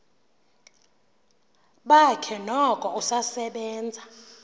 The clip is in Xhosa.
bakhe noko usasebenza